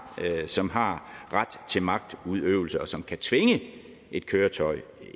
som har ret til magtudøvelse og som kan tvinge et køretøj